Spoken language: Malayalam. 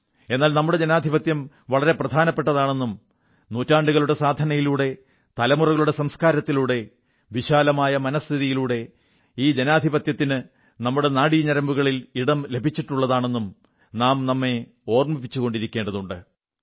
എന്നാൽ നമ്മുടെ ജനാധിപത്യം വളരെ പ്രധാനപ്പെട്ടതാണെന്നും നൂറ്റാണ്ടുകളുടെ സാധനയിലൂടെ തലമുറകളുടെ സംസ്കാരത്തിലൂടെ വിശാലമായ മനഃസ്ഥിതിയിലൂടെ ഈ ജനാധിപത്യത്തിനു നമ്മുടെ നാഡിഞരമ്പുകളിൽ ഇടം ലഭിച്ചിട്ടുള്ളതാണെന്നും നാം നമ്മെ ഓർമ്മിപ്പിച്ചുകൊണ്ടേയിരിക്കേണ്ടതുണ്ട്